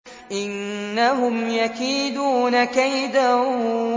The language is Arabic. إِنَّهُمْ يَكِيدُونَ كَيْدًا